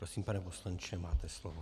Prosím, pane poslanče, máte slovo.